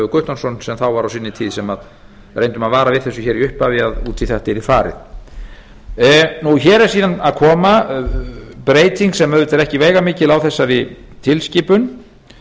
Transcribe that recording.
guttormsson sem þá var á sinni tíð sem reyndum að vara við þessu í upphafi að út í þetta yrði farið hér er síðan að koma breyting sem er auðvitað ekki veigamikil á þessari tilskipun